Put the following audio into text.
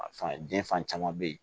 A fan den fan caman bɛ ye